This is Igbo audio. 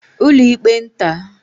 ụlọịkpe nta